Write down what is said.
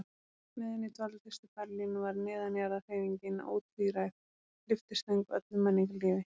Meðan ég dvaldist í Berlín var neðanjarðarhreyfingin ótvíræð lyftistöng öllu menningarlífi.